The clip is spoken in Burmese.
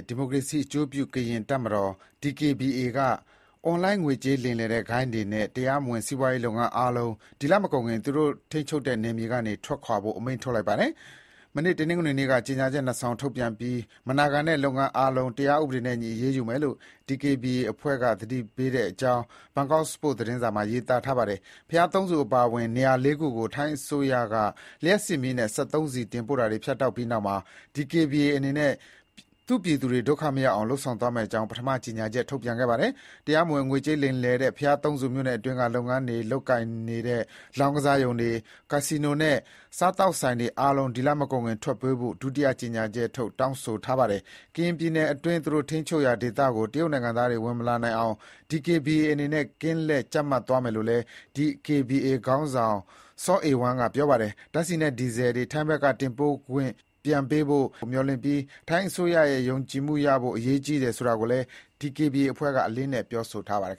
ဒီမိုကရေစီအကျိုးပြု ကရင်တပ်မတော် DKBA ကရင်လက်နက်ကိုင်အဖွဲ့က အွန်လိုင်းငွေကြေး လိမ်လည်တဲ့ဂိုဏ်းတွေနဲ့ တရားမဝင်စီးပွားရေးလုပ်ငန်းအားလုံး ဒီလမကုန်ခင် သူတို့ ထိန်းချုပ်တဲ့ နယ်မြေက ထွက်ခွာဖို့ အမိန့်ထုတ်လိုက်ပါတယ်။ တနင်္ဂနွေနေ့က ကြေညာချက် ၂ စောင် ထုတ်ပြန်ပြီး မနာခံတဲ့ လုပ်ငန်းအားလုံး တရားဥပဒေနဲ့ အညီ အရေးယူမယ်လို့ DKBA အဖွဲ့က သတိပေးထားတဲ့အကြောင်း ဘန်ကောက်ပို့စ် သတင်းစာမှာရေးသားထားပါတယ်။ ဘုရားသုံးဆူအပါအဝင် နေရာလေးခုကို ထိုင်းအစိုးရက လျှပ်စစ်မီးနဲ့ စက်သုံးဆီတင်ပို့တာတွေ ဖြတ်တောက်ပြီးနောက်မှာ DKBA အနေနဲ့ သူ့ပြည်သူတွေ ဒုက္ခမရောက်အောင် လုပ်ဆောင်သွားမယ့်အကြောင်း ပထမ ကြေညာချက်ထုတ်ပြန်ခဲ့တာပါ။ တရားမဝင် ငွေကြေးလိမ်လည်တဲ့ ဘုရားသုံးဆူမြို့နယ်အတွင်းက လုပ်ငန်းတွေ လုပ်ကိုင်နေတဲ့ လောင်းကစားရုံတွေ၊ ကက်စီနိုနဲ့ စားသောက်ဆိုင်တွေအားလုံး ဒီလမကုန်ခင် ထွက်ပေးဖို့ ဒုတိယ ကြေညာချက်မှာ တောင်းဆိုထားပါတယ်။ ကရင်ပြည်နယ်အတွင်း သူတို့ထိန်းချုပ်ရာဒေသကို တရုတ်နိုင်ငံသားတွေ ဝင်မလာနိုင်အောင် DKBA အနေနဲ့ ကင်းလှည့်ကြပ်မတ်သွားမယ်လို့လည်း DKBA ခေါင်းဆောင် ဗိုလ်မှူးကြီး စောအေဝမ်းက ပြောပါတယ်။ ဓါတ်ဆီနဲ့ ဒီဇယ်တွေ ထိုင်းဘက်က တင်ပို့ခွင့်ပြန်ပေးဖို့၊ လျှပ်စစ်မီးပြန်ပေးဖို့ မျှော်လင့်ပြီး ထိုင်းအစိုးရရဲ့ ယုံကြည်မှုရဖို့ အရေးကြီးတယ်ဆိုတာကိုလည်း DKBA အဖွဲ့က အလေးအနက် ပြောဆိုထားပါတယ်